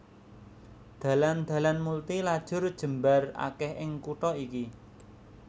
Dalan dalan multi lajur jembar akèh ing kutha iki